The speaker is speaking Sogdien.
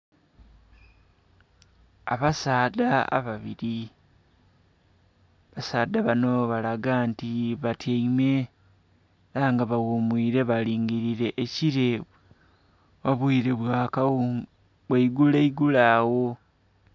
abasaadha ababili abasaadha banho balaga nti batyaime ela nga baghumuile alingilile ekile obuile bwa igulo igulo agho.